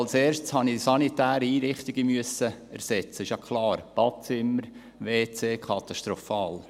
Als Erstes musste ich die sanitären Einrichtungen ersetzen, das ist ja klar: Badezimmer, WC, katastrophal.